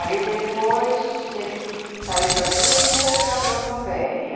Aí depois ele saiu da Simes e foi para Bramboveri.